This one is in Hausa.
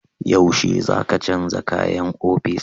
Yaushe za ka canja kayan ofis?